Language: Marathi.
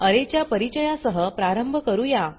अरे च्या परिचया सह प्रारंभ करूया